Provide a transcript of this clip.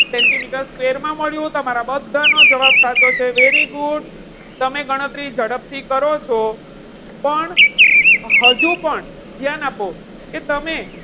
Centimetre square માં મળ્યું. તમારા બધાનો જવાબ સાચો છે. very good તમે ગણતરી ઝડપથી કરો છો. પણ હજુ પણ ધ્યાન આપો કે તમે,